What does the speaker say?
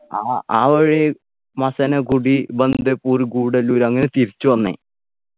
ആ ആ വഴി മസനഗുഡി ബണ്ട്പ്പൂർ ഗുഡല്ലൂർ അങ്ങനെ തിരിച്ചു വന്നേ